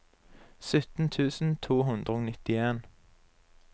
sytten tusen to hundre og nittien